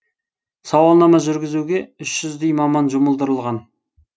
сауалнама жүргізуге үш жүздей маман жұмылдырылған